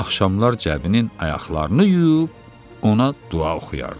axşamlar Cəbinin ayaqlarını yuyub ona dua oxuyardı.